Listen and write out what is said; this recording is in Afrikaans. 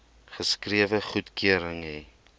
geskrewe goedkeuring hê